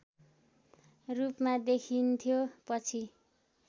रूपमा देखिन्थ्यो पछि